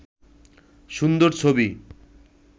সুন্দর ছবি